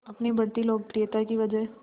अपनी बढ़ती लोकप्रियता की वजह